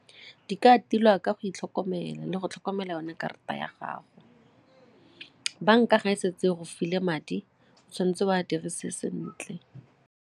Di ka tilwa ka go itlhokomela le go tlhokomela yone karata ya gago. Banka ga e setse go file madi o tshwanetse o a dirise sentle.